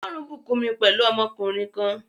Ọlọrun bùkún mi pẹ̀lú ọmọkùnrin kan